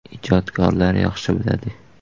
Ijodkorlar yaxshi biladi.